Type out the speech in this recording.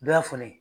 Dɔ y'a fɔ ne ye